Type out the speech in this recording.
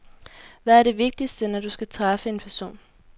Hvad er det vigtigste, når du skal træffe en person?